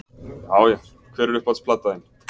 Já já Hver er uppáhalds platan þín?